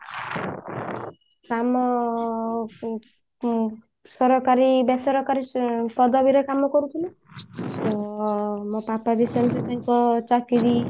କାମ ଉଁ ଉଁ ସରକାରୀ ବେସରକାରୀ ଉଁ ପଦବୀ ରେ କାମ କରୁଥିଲେ ତ ମୋ ପାପା ବି ସେମିତି ତାଙ୍କ ଚାକିରି